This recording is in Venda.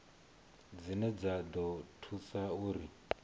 dzine dza ḓo thusa uri